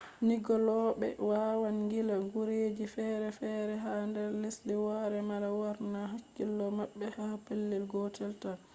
ngilloɓe wawaan ngilla gureji feere feere ha nder lesdi woore mala lornaa hakkilo maɓɓe ha pelel gotel taan